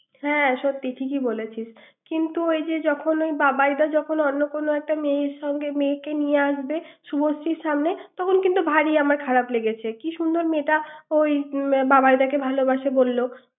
হ্যাঁ সত্যিই ঠিকই বলেছিস কিন্তু ওই যে বাবাই দা যখন অন্য কোন একটা মেয়ের সঙ্গে মেয়েকে নিয়ে আসবে শুভশ্রীর সামনে তখন কিন্তু ভারী আমার খারাপ লেগেছে কি সুন্দর মেয়েটা ওই বাবাই দা তাকে ভালোবাসে বলল ৷